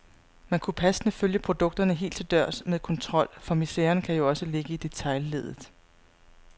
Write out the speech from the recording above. Man kunne passende følge produkterne helt til dørs med kontrol, for miseren kan jo også ligge i detailleddet.